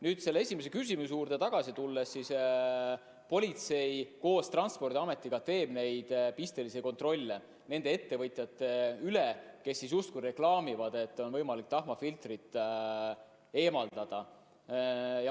Kui esimese küsimuse juurde tagasi tulla, siis politsei koos Transpordiametiga teeb pistelisi kontrolle nende ettevõtjate üle, kes reklaamivad, et on võimalik tahmafiltrit eemaldada.